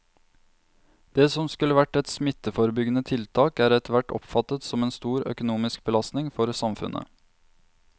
Det som skulle være et smitteforebyggende tiltak er etterhvert oppfattet som en stor økonomisk belastning for samfunnet.